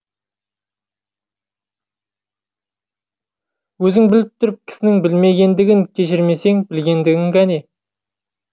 өзің біліп тұрып кісінің білмегендігін кешірмесең білгендігің кәне